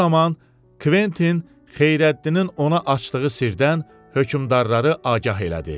Bu zaman Kventin Xeyrəddinin ona açdığı sirdən hökmdarları agah elədi.